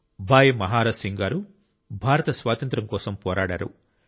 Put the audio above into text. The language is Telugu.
భాయ్ మహారాజ్ సింగ్ గారు భారత స్వాతంత్ర్యం కోసం పోరాడారు